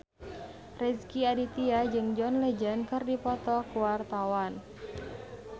Rezky Aditya jeung John Legend keur dipoto ku wartawan